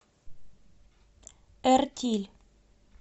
эртиль